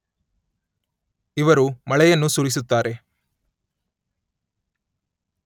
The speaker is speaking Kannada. ಇವರು ಮಳೆಯನ್ನು ಸುರಿಸುತ್ತಾರೆ.